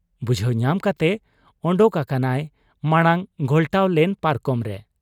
ᱵᱩᱡᱷᱟᱹᱣ ᱧᱟᱢ ᱠᱟᱛᱮ ᱚᱰᱚᱠ ᱟᱠᱟᱱᱟᱭ ᱢᱟᱬᱟᱝ ᱜᱷᱚᱞᱴᱟᱣ ᱞᱮᱱ ᱯᱟᱨᱠᱚᱢ ᱨᱮ ᱾